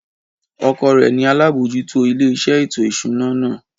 Ọkọ rẹ̀ ni alábòójútó ilé iṣẹ́ ètò ìṣúná náà